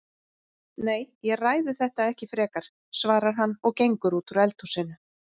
Nei, ég ræði þetta ekki frekar, svarar hann og gengur út úr eldhúsinu.